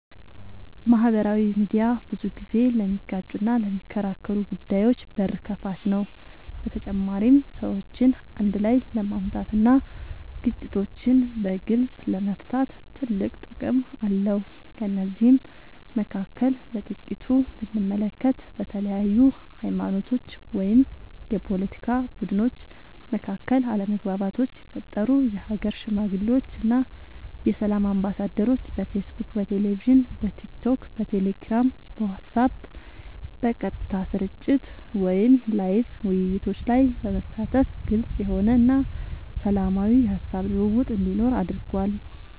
ማህበራዊ ሚድያ ብዙ ጊዜ ለሚጋጩና ለሚከራከሩ ጉዳዮች በር ከፋች ነው በተጨማሪም ሰዎችን አንድ ላይ ለማምጣት እና ግጭቶችን በግልፅ ለመፍታት ትልቅ ጥቅም አለው ከነዚህም መካከል በጥቂቱ ብንመለከት በተለያዩ ሀይማኖቶች ወይም የፓለቲካ ቡድኖች መካከል አለመግባባቶች ሲፈጠሩ የሀገር ሽማግሌዎች እና የሰላም አምባሳደሮች በፌስቡክ በቴሌቪዥን በቲክቶክ በቴሌግራም በዋትስአብ በቀጥታ ስርጭት ወይም ላይቭ ውይይቶች ላይ በመሳተፍ ግልፅ የሆነ እና ሰላማዊ የሀሳብ ልውውጥ እንዲኖር አድርጓል።